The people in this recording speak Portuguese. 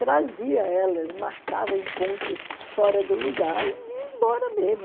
Trazia ela, marcava encontro fora do lugar e ia embora mesmo.